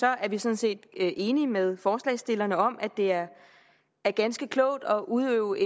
er vi sådan set enige med forslagsstillerne om at det er ganske klogt at udøve